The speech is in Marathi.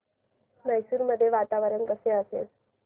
मैसूर मध्ये वातावरण कसे असेल